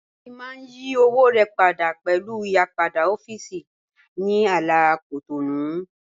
Tobi mà n yí òwò rẹ pádà pẹ̀lú ìyìpadà ọ̀fíìsì ní àlà Cotonou